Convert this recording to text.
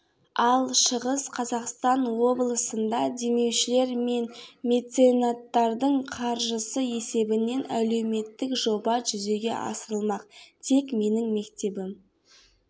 ал шығыс қазақстан облысында демеушілер мен меценаттардың қаржысы есебінен әлеуметтік жоба жүзеге асырылмақ тек менің мектебім